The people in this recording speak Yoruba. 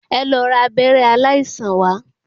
Ẹ lọ ra abẹ́rẹ́ aláìsàn wá.